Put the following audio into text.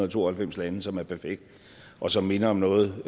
og to og halvfems lande som er perfekt og som minder om noget